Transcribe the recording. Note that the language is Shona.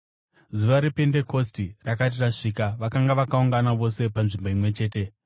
Zuva rePendekosti rakati rasvika, vakanga vakaungana vose panzvimbo imwe chete.